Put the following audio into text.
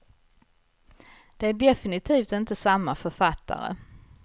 Det är definitivt inte samma författare.